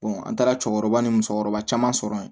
an taara cɛkɔrɔba ni musokɔrɔba caman sɔrɔ yen